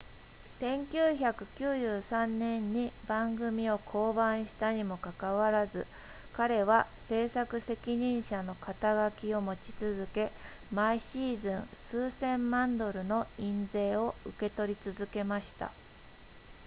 1993年に番組を降板したにもかかわらず彼は制作責任者の肩書きを持ち続け毎シーズン数千万ドルの印税を受け取り続けました